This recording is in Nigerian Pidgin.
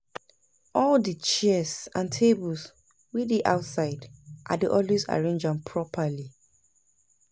all di chairs and tables wey dey outside, I dey always arrange am properly